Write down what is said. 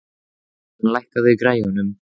Elín, lækkaðu í græjunum.